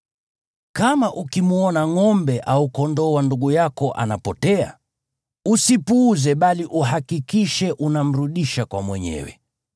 Kama ukimwona ngʼombe au kondoo wa ndugu yako anapotea, usipuuze, bali uhakikishe unamrudisha kwa mwenyewe.